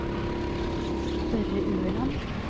Børre Ueland